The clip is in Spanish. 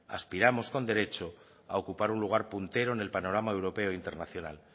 aspiramos con derecho a ocupar un lugar puntero en el panorama europeo e internacional